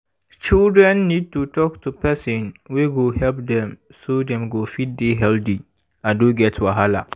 children need to talk to person wey go help dem so dem go fit dey healthy and no get wahala